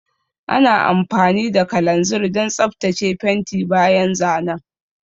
Ana amfani da kalanzir don tsaftace fenti bayan zanen.